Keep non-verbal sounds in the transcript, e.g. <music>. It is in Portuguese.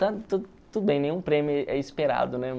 <unintelligible> nenhum prêmio é esperado, né?